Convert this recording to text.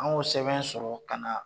An y'o sɛbɛn sɔrɔ ka na